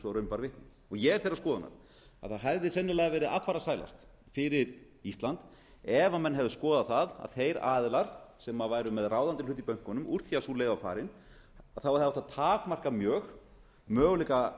raun bar vitni og ég er þeirrar skoðunar að það hefði sennilega verið affarasælast fyrir ísland ef menn hefðu skoðað það að þeir aðilar sem væru með ráðandi hlut í bönkunum úr því að sú leið var farin þá hefði átt að takmarka mjög möguleika